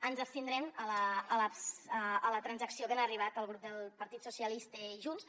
ens abstindrem a la transacció a que han arribat el grup del partit socialistes i junts